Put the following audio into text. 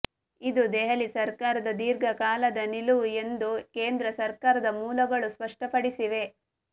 ಇದು ದೆಹಲಿ ಸರ್ಕಾರದ ದೀರ್ಘ ಕಾಲದ ನಿಲುವು ಎಂದು ಕೇಂದ್ರ ಸರ್ಕಾರದ ಮೂಲಗಳು ಸ್ಪಷ್ಟಪಡಿಸಿವೆ